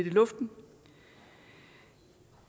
i luften